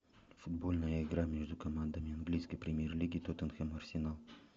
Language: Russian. футбольная игра между командами английской премьер лиги тоттенхэм арсенал